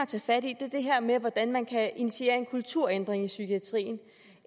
tage fat i er det her med hvordan man kan initiere en kulturændring i psykiatrien